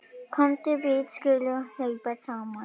Komdu við skulum hlaupa saman.